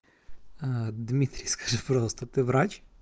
дмитриевская просто ты врач